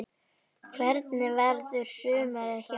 Hvernig verður sumarið hjá þér?